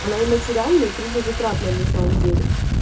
она и материальная и трудозатратная на самом деле